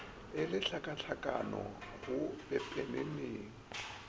e le tlhakatlhakano go pepeneneng